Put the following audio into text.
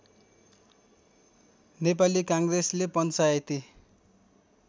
नेपाली काङ्ग्रेसले पञ्चायती